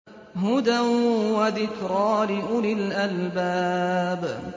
هُدًى وَذِكْرَىٰ لِأُولِي الْأَلْبَابِ